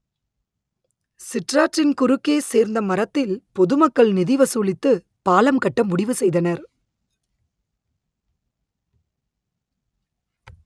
சிற்றாற்றின் குறுக்கே சேர்ந்தமரத்தில் பொதுமக்கள் நிதி வசூலித்து பாலம் கட்ட முடிவு செய்தனர்